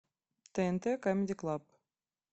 тнт камеди клаб